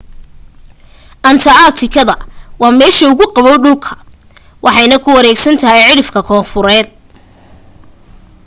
anta aartika waa meesha ugu qaboow dhulka waxayna ku wareegsan tahay cidhifka koonfureed